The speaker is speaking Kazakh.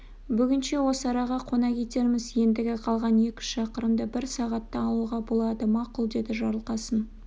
бүгінше осы араға қона кетерміз ендігі қалған екі-үш шақырымды бір сағатта алуға болады мақұл деді жарылқасын